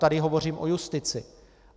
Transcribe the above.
Tady hovořím o justici.